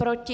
Proti?